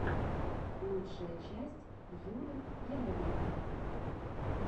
лучшая часть юры яровенкова